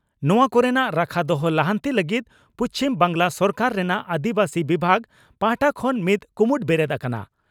ᱱᱚᱣᱟ ᱠᱚᱨᱮᱱᱟᱜ ᱨᱟᱠᱷᱟ ᱫᱚᱦᱚ, ᱞᱟᱦᱟᱱᱛᱤ ᱞᱟᱹᱜᱤᱫ ᱯᱩᱪᱷᱢ ᱵᱟᱝᱜᱽᱞᱟ ᱥᱚᱨᱠᱟᱨ ᱨᱮᱱᱟᱜ ᱟᱹᱫᱤᱵᱟᱹᱥᱤ ᱵᱤᱵᱷᱟᱜᱽ ᱯᱟᱦᱴᱟ ᱠᱷᱚᱱ ᱢᱤᱫ ᱠᱩᱢᱩᱴ ᱵᱮᱨᱮᱫ ᱟᱠᱟᱱᱟ ᱾